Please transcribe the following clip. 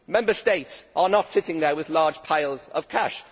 Member States are not sitting there with large piles of cash.